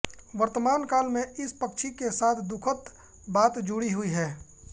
वर्तमान काल में इस पक्षी के साथ दुखद् बात जुड़ी हुई है